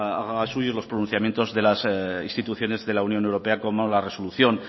haga suyo los pronunciamientos de las instituciones de la unión europea como la resolución